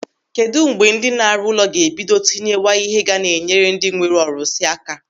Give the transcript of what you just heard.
Kedụ mgbe ndị na-arụ ụlọ ga-ebido tinyewa ihe ga na-enyere ndị nwere ọrụsị aka?